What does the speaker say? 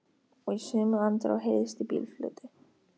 Og í sömu andrá heyrðist í bílflautu.